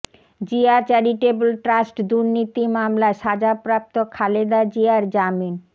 Zia charitable trust দুর্নীতি মামলায় সাজাপ্রাপ্ত খালেদা জিয়ার জামিন